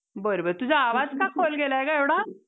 आमचं अं बघ दोन दिवस gathering असतंय जास्तीत जास्त.